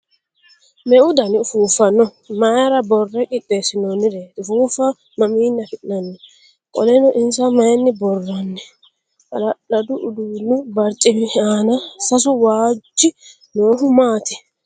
Meu dani ufuuffa no? Maayra boorre qixxeessinoonnireeti? Ufuuffa mamiinni afi'nanni? Qolleno insa maayinni boorranni? Hala'ladu uduunnu barcimi aana sasu waajji noohu maati?